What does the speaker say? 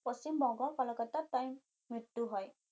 পশ্চিমবংগ কলিকতাত তাই মৃত্যু হয়